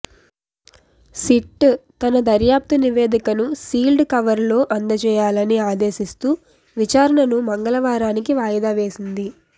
SIT తన దర్యాప్తు నివేదికను సీల్డ్ కవర్లో అందజేయాలని ఆదేశిస్తూ విచారణను మంగళవారానికి వాయిదా వేసింది